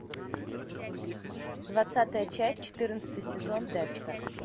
двадцатая часть четырнадцатый сезон декстер